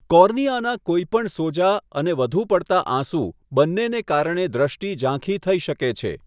કોર્નિયાનાં કોઈપણ સોજા અને વધુ પડતા આંસુ બંનેને કારણે દ્રષ્ટિ ઝાંખી થઈ શકે છે.